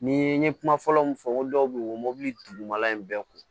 Ni n ye kuma fɔlɔ min fɔ n ko dɔw bɛ yen o mobili dugumala in bɛɛ ko